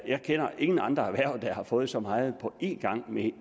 jeg kender ingen andre erhverv der har fået så meget på en gang med